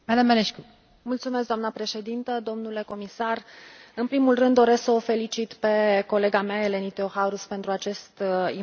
Doamnă președintă, domnule comisar, în primul rând doresc să o felicit pe colega mea, Eleni Theocharous, pentru acest important raport.